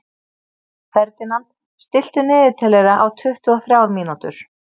Ferdinand, stilltu niðurteljara á tuttugu og þrjár mínútur.